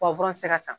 tɛ se ka san